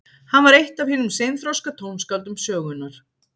Hann var eitt af hinum seinþroska tónskáldum sögunnar.